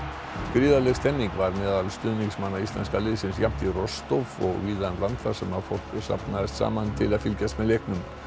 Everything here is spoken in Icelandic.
gríðarleg stemmning var meðal stuðningsmanna íslenska liðsins jafnt í Rostov og víða um land þar sem fólk safnaðist saman til að fylgjast með leiknum